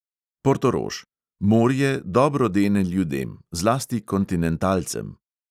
Portorož: morje dobro dene ljudem, zlasti kontinentalcem.